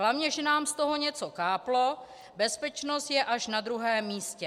Hlavně že nám z toho něco káplo, bezpečnost je až na druhém místě!